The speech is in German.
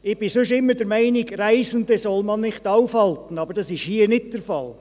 Ich bin sonst immer der Meinung, Reisende solle man nicht aufhalten, aber dies ist hier nicht der Fall.